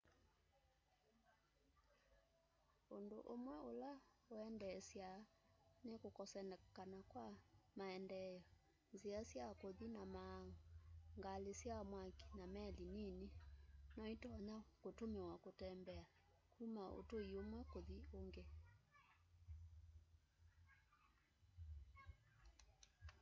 ũndũ ũmwe ũla ũendesyaa nĩ kũkosekana kwa maendeeo nzĩa sya kũthĩ na maaũ ngalĩ sya mwakĩ na meli nĩnĩ nyoĩtonya kũtũmĩwa kũtembea kũma ũtũĩ ũmwe kũthĩ ũngĩ